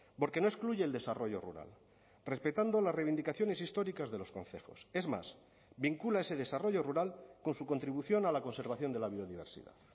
porque no excluye el desarrollo rural respetando las reivindicaciones históricas de los concejos es más vincula ese desarrollo rural con su contribución a la conservación de la biodiversidad